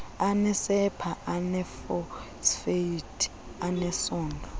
anesepha eneefosfeythi anesondlo